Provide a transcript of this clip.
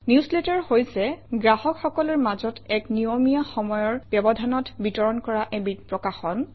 newsletter হৈছে গ্ৰাহকসকলৰ মাজত এক নিয়মীয়া সময়ৰ ব্যৱধানত বিতৰণ কৰা এবিধ প্ৰকাশন